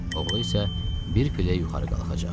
Oğlu isə bir pillə yuxarı qalxacaq.